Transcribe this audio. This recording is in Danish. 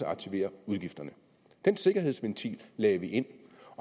aktivere udgifterne den sikkerhedsventil lagde vi ind